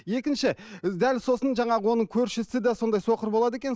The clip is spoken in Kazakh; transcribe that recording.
екінші дәл сосын жаңағы оның көршісі де сондай соқыр болады екен